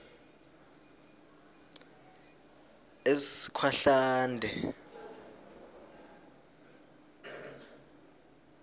eskhwahlande